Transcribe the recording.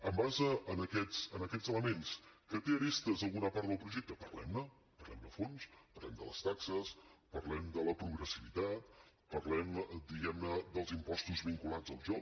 en base a aquests elements que té arestes alguna part del projecte parlem ne parlem ne a fons parlem de les taxes parlem de la progressivitat parlem diguem ne dels impostos vinculats al joc